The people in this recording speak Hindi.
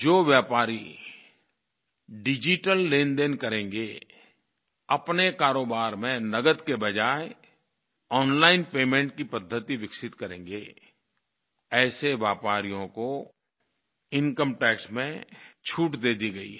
जो व्यापारी डिजिटल लेनदेन करेंगे अपने कारोबार में नगद के बज़ाय ओनलाइन पेमेंट की पद्धति विकसित करेंगे ऐसे व्यापारियों को इनकम टैक्स में छूट दे दी गई है